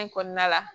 kɔnɔna la